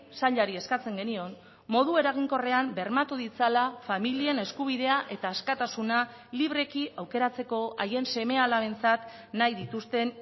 sailari eskatzen genion modu eraginkorrean bermatu ditzala familien eskubidea eta askatasuna libreki aukeratzeko haien seme alabentzat nahi dituzten